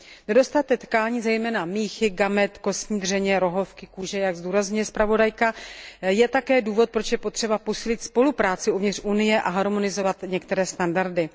Nedostatek tkání, zejména míchy, gamet, kostní dřeně, rohovky, kůže, jak zdůrazňuje zpravodajka, je také důvodem, proč je potřeba posílit spolupráci uvnitř Unie a harmonizovat některé standardy.